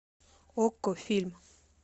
окко фильм